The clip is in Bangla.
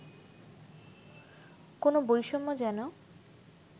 কোন বৈষম্য যেন